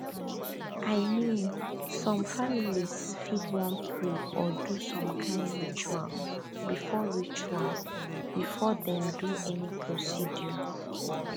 i mean some families fit wan pray or do some kind ritual before ritual before dem do any procedure